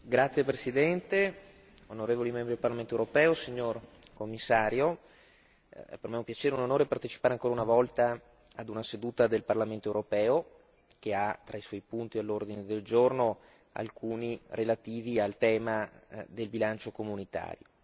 Signor Presidente, onorevoli deputati, signor Commissario, per me è un piacere e un onore partecipare ancora una volta a una seduta del Parlamento europeo, che ha tra i suoi punti all'ordine del giorno alcuni relativi al tema del bilancio comunitario.